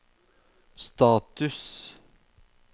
status